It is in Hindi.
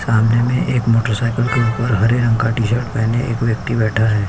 सामने एक मोटरसाइकिल के ऊपर हरे रंग का टी-शर्ट पहने एक व्यक्ति बैठा है।